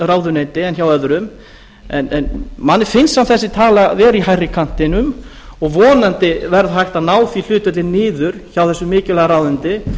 ráðuneyti en hjá öðrum manni finnst þessi tala samt vera í hærri kantinum og vonandi verður hægt að ná því hlutfalli niður hjá þessu mikilvæga ráðuneyti